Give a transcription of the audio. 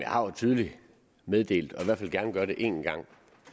tidligere meddelt og jeg vil gerne gøre det en gang